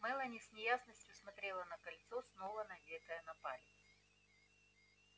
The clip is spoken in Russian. мелани с неясностью смотрела на кольцо снова надетое на палец